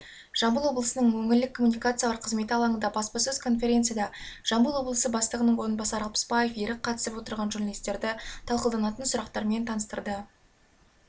жамбыл облысының өңірлік коммуникациялар қызметі алаңында баспасөз конференцияда жамбыл облысы бастығының орынбасары алпысбаев ерік қатысып отырған журналисттерді талқылданатын сұрақтермен таныстырды